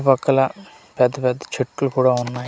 ఒక్కల పెద్ద పెద్ద చెట్లు కూడా ఉన్నాయ్.